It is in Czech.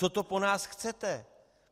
Co to po nás chcete?